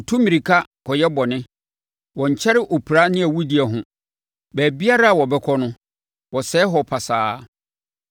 Wɔtu mmirika kɔyɛ bɔne; wɔnkyɛre opira ne awudie ho. Baabiara a wɔbɛkɔ no, wɔsɛe hɔ pasaa.